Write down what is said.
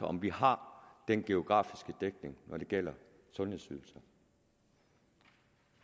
om vi har den geografiske dækning når det gælder sundhedsydelser